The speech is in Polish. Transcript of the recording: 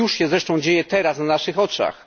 To już się zresztą dzieje teraz na naszych oczach.